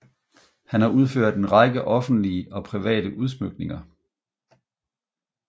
Han har udført en række offentlige og private udsmykninger